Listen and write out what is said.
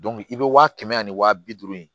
i bɛ waa kɛmɛ ani waa bi duuru in